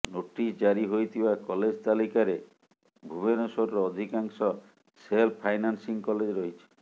notice ଜାରି ହୋଇଥିବା college ତାଲିକାରେ ଭୁବନେଶ୍ୱରର ଅଧିକାଂଶ ସେଲ୍ଫ ଫାଇନାନ୍ସିଂ କଲେଜ ରହିଛି